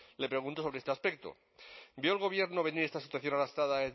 le pregunto sobre este aspecto vio el gobierno venir esta situación arrastrada